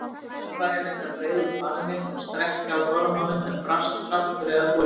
Töffarinn reyndi að breiða út faðminn og strekkja á gormunum, en brast kraftur eða þolinmæði.